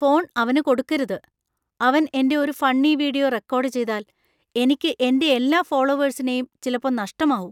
Phone അവന് കൊടുക്കരുത്. അവൻ എന്‍റെ ഒരു ഫണ്ണി വീഡിയോ റെക്കോർഡ് ചെയ്താൽ, എനിക്ക് എന്‍റെ എല്ലാ ഫോളോവേഴ്‌സിനെയും ചിലപ്പോ നഷ്ടമാവും.